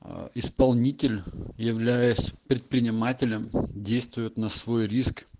ээ исполнитель являясь предпринимателем действует на свой риск